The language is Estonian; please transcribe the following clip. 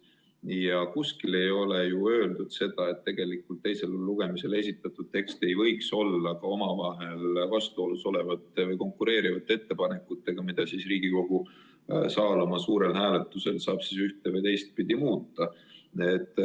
Ja kuskil ei ole öeldud, et teisele lugemisele esitatud tekst ei võiks sisaldada omavahel vastuolus olevaid või konkureerivaid ettepanekuid, mida Riigikogu saab suure saali hääletusel ühte- või teistpidi muuta.